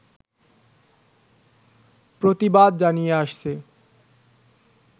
প্রতিবাদ জানিয়ে আসছে